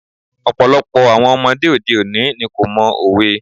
Ọ̀pọ̀lọpọ̀ àwọn ọmọdé òde òní ni kò mọ òwe.